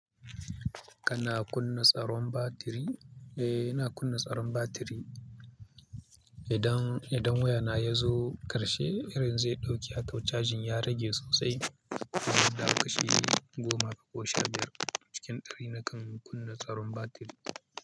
Kana kunna tsaron batiri? Eh, ina kunna tsaron batiri. Idan, idan wayana ya zo karshe, irin zai ɗauke, cajin ya rage sosai. Idan da kashi goma ko sha biyar cikin ɗari nakan kunna tsaron batiri.